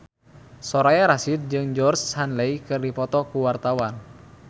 Soraya Rasyid jeung Georgie Henley keur dipoto ku wartawan